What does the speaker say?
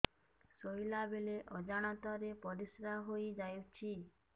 ଶୋଇଲା ବେଳେ ଅଜାଣତ ରେ ପରିସ୍ରା ହେଇଯାଉଛି